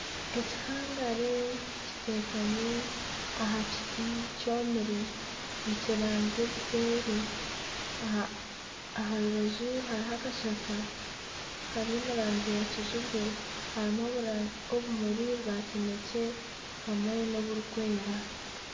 Ekihangare kitekami aha kiti kyomire nikiranzya obuseeri aha rubaju hariho akashaka kari omu rangi ya kijubwe harimu obumuri bwa kinekye hamwe n'oburikwera